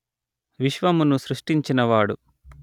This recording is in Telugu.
విశ్వమును సృష్టించిన వాడు